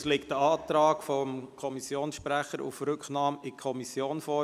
Es liegt ein Antrag des Kommissionssprechers auf Rücknahme an die Kommission vor.